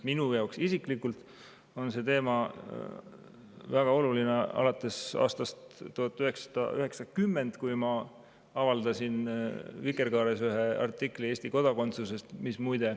Minu jaoks isiklikult on see teema väga oluline alates aastast 1990, kui ma avaldasin Vikerkaares ühe artikli Eesti kodakondsusest.